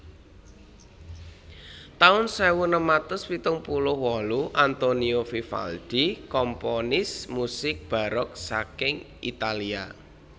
taun sewu enem atus pitung puluh wolu Antonio Vivaldi komponis musik barok saking Italia